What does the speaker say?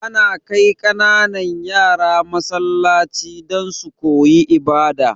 Ana kai kananan yara Masallaci don su koyi ibada